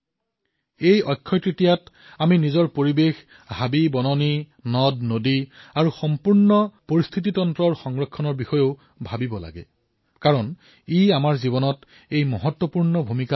এই অক্ষয় তৃতীয়াত আমি আমাৰ পৰিবেশ হাবিবন নদী আৰু সমগ্ৰ পৰিবেশ তন্ত্ৰৰ সংৰক্ষণৰ বিষয়ে চিন্তা কৰিব লাগিব যিয়ে আমাৰ জীৱনত গুৰুত্বপূৰ্ণ ভূমিকা পালন কৰে